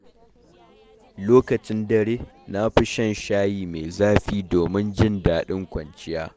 Lokacin dare, na fi shan shayi mai zafi domin jin daɗin kwanciya.